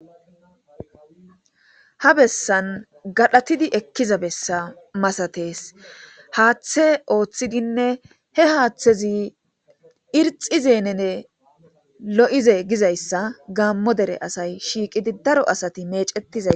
Ha bessan gadhdhatidii ekiza bessa maasates haaththe ooththidinne he haththezii irxizenne lo'oizee gizayssa gaammo der asay shiiqqidi dara asati meecetizayssa